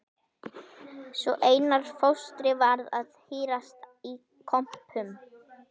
Svo Einar fóstri varð að hírast í kompum.